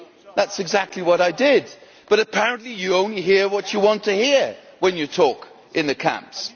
That is exactly what I did, but apparently you only hear what you want to hear when you talk in the camps.